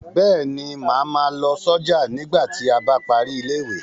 Bẹ́ẹ̀ ni, màá ma lọ sọ́jà nígbà tí a bá parí ilé ìwé.